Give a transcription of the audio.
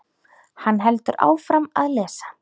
Hann heldur áfram að lesa